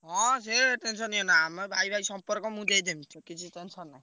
ହଁ ସେ tension ନିଅନା ଆମେ ଭାଇ ଭାଇ ସମ୍ପର୍କ ମୁଁ ଦେଇଦେବି କିଛି tension ନାଇଁ।